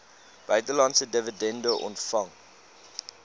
buitelandse dividende ontvang